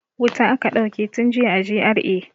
Wuta aka dauke tun jiya a GRA.